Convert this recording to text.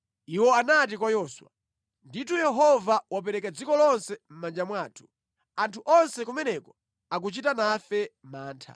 Iwo anati kwa Yoswa, “Ndithu, Yehova wapereka dziko lonse mʼmanja mwathu. Anthu onse kumeneko akuchita nafe mantha.”